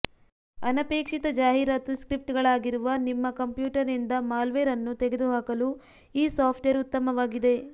ಅನಪೇಕ್ಷಿತ ಜಾಹೀರಾತು ಸ್ಕ್ರಿಪ್ಟ್ಗಳಾಗಿರುವ ನಿಮ್ಮ ಕಂಪ್ಯೂಟರ್ನಿಂದ ಮಾಲ್ವೇರ್ ಅನ್ನು ತೆಗೆದುಹಾಕಲು ಈ ಸಾಫ್ಟ್ವೇರ್ ಉತ್ತಮವಾಗಿದೆ